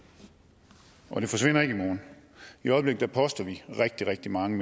og den forsvinder ikke i morgen i øjeblikket poster vi rigtig rigtig mange